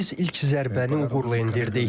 Biz ilk zərbəni uğurla endirdik.